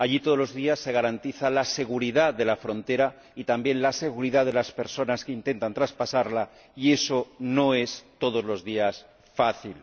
Allí, todos los días, se garantiza la seguridad de la frontera y también la seguridad de las personas que intentan traspasarla, y eso no es, todos los días, fácil.